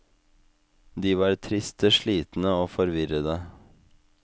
De var triste, slitne og forvirrede.